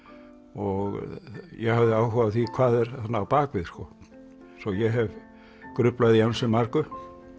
og ég hafði áhuga á því hvað er þarna á bak við sko svo ég hef gruflað í ansi mörgu